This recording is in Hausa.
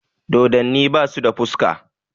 Dodonni basu da fuska